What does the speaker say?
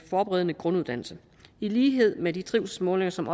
forberedende grunduddannelse i lighed med de trivselsmålinger som